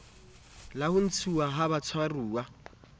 la ho ntshuwa ha batshwaruwa